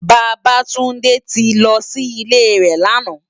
Babatunde ti lò si ilé rè làná